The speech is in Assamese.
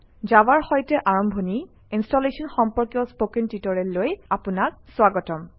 জাভাৰ সৈতে আৰম্ভণি ইনষ্টলেশ্যন সম্পৰ্কীয় স্পকেন টিউটৰিয়েললৈ আপোনাক স্বাগতম